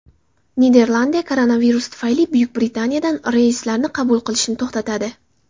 Niderlandiya koronavirus tufayli Buyuk Britaniyadan reyslarni qabul qilishni to‘xtatadi.